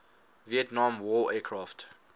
vietnam war aircraft